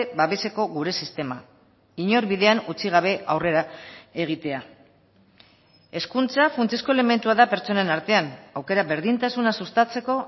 babeseko gure sistema inor bidean utzi gabe aurrera egitea hezkuntza funtsezko elementua da pertsonen artean aukera berdintasuna sustatzeko